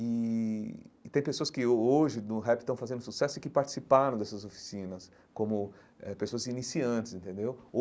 E e tem pessoas que ho hoje, no rap, estão fazendo sucesso e que participaram dessas oficinas como eh pessoas iniciantes, entendeu?